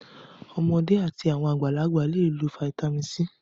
Ọmọdé àti àwọn àgbàlagbà le lo fataímìn C.